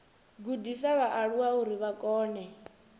gudisa vhaaluwa uri vha kone